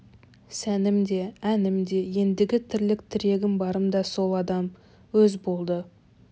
сәнім де әнім де ендігі тірлік тірегім барым да сол адам өз болды